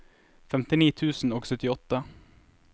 femtini tusen og syttiåtte